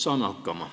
Saame hakkama.